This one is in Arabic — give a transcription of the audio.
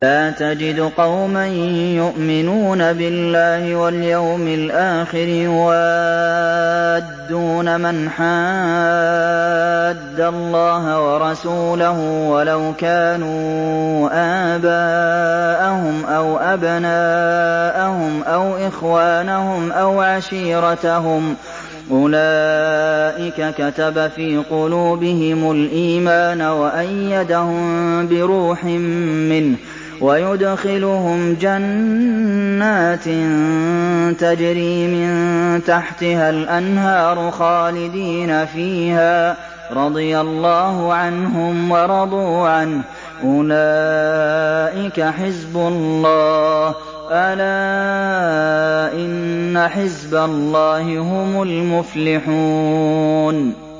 لَّا تَجِدُ قَوْمًا يُؤْمِنُونَ بِاللَّهِ وَالْيَوْمِ الْآخِرِ يُوَادُّونَ مَنْ حَادَّ اللَّهَ وَرَسُولَهُ وَلَوْ كَانُوا آبَاءَهُمْ أَوْ أَبْنَاءَهُمْ أَوْ إِخْوَانَهُمْ أَوْ عَشِيرَتَهُمْ ۚ أُولَٰئِكَ كَتَبَ فِي قُلُوبِهِمُ الْإِيمَانَ وَأَيَّدَهُم بِرُوحٍ مِّنْهُ ۖ وَيُدْخِلُهُمْ جَنَّاتٍ تَجْرِي مِن تَحْتِهَا الْأَنْهَارُ خَالِدِينَ فِيهَا ۚ رَضِيَ اللَّهُ عَنْهُمْ وَرَضُوا عَنْهُ ۚ أُولَٰئِكَ حِزْبُ اللَّهِ ۚ أَلَا إِنَّ حِزْبَ اللَّهِ هُمُ الْمُفْلِحُونَ